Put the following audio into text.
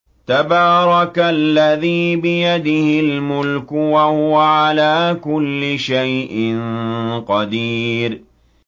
تَبَارَكَ الَّذِي بِيَدِهِ الْمُلْكُ وَهُوَ عَلَىٰ كُلِّ شَيْءٍ قَدِيرٌ